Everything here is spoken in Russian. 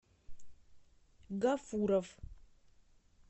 гафуров